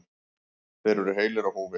Þeir eru heilir á húfi.